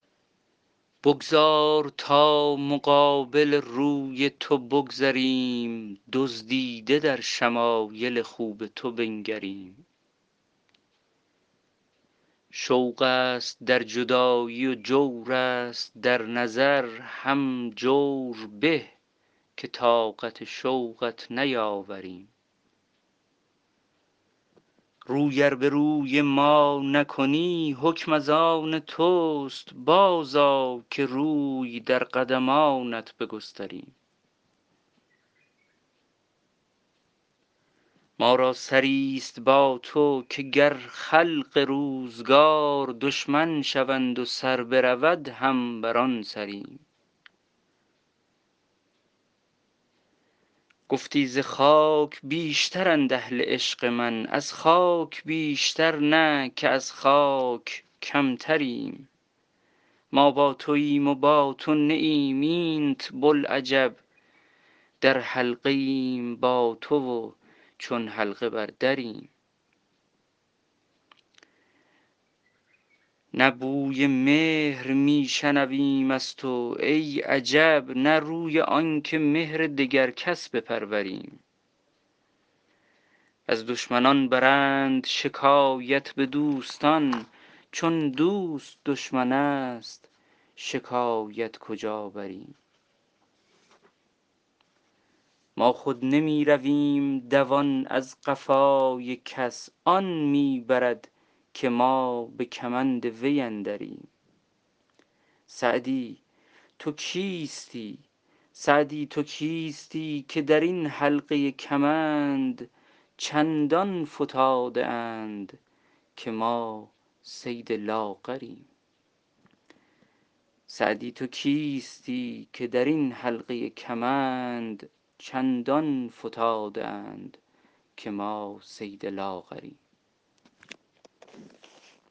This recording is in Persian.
بگذار تا مقابل روی تو بگذریم دزدیده در شمایل خوب تو بنگریم شوق است در جدایی و جور است در نظر هم جور به که طاقت شوقت نیاوریم روی ار به روی ما نکنی حکم از آن توست بازآ که روی در قدمانت بگستریم ما را سری ست با تو که گر خلق روزگار دشمن شوند و سر برود هم بر آن سریم گفتی ز خاک بیشترند اهل عشق من از خاک بیشتر نه که از خاک کمتریم ما با توایم و با تو نه ایم اینت بلعجب در حلقه ایم با تو و چون حلقه بر دریم نه بوی مهر می شنویم از تو ای عجب نه روی آن که مهر دگر کس بپروریم از دشمنان برند شکایت به دوستان چون دوست دشمن است شکایت کجا بریم ما خود نمی رویم دوان در قفای کس آن می برد که ما به کمند وی اندریم سعدی تو کیستی که در این حلقه کمند چندان فتاده اند که ما صید لاغریم